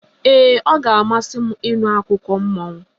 Ee, ọ ga-amasị m ịnụ akụkọ mmụọ.